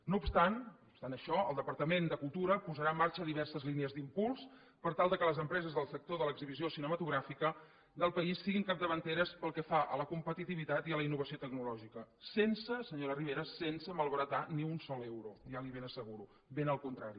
no obstant no obstant això el departament de cultura posarà en marxa diverses línies d’impuls per tal que les empreses del sector de l’exhibició cinematogràfica del país siguin capdavanteres pel que fa a la competitivitat i a la innovació tecnològica sense senyora rivera malbaratar ni un sol euro ja li ho ben asseguro ben al contrari